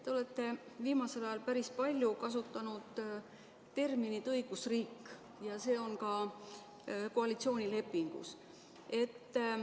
Te olete viimasel ajal päris palju kasutanud terminit "õigusriik" ja see on ka koalitsioonilepingus.